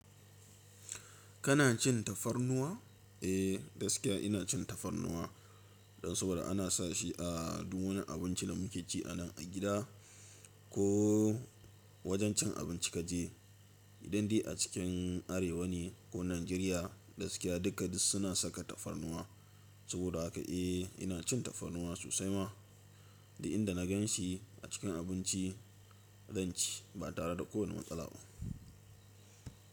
Kana cin tafarnuwa? Eh, gaskiya ina cin tafarnuwa don saboda ana sashi a duwani abinci da muke ci anan a gida ko wajen cin abinci kaje. Idan di a cikin Arewa ne ko Najeriya gaskiya duka duk suna saka tafarnuwa. Saboda haka eh ina cin tafarnuwa sosai ma, da inda na gan shi a cikin abinci zan ci ba tare da kowanne matsala ba.